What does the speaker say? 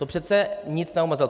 To přece nic neomezovalo.